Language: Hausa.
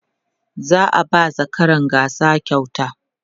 za'a ba zakaran gasa kyauta